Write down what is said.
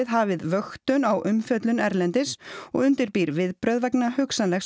hafið vöktun á umfjöllun erlendis og undirbýr viðbrögð vegna hugsanlegs